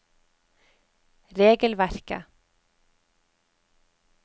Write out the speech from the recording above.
regelverket